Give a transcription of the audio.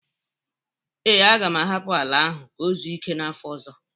Ee, aga m ahapụ ala ahụ ka o zuo ike n'afọ ọzọ